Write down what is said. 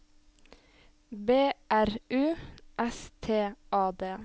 B R U S T A D